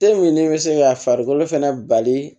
E min bɛ se ka farikolo fɛnɛ bali